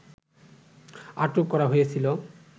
আটক করা হয়েছিল